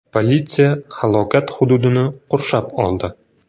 Politsiya halokat hududini qurshab oldi.